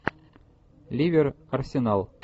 ливер арсенал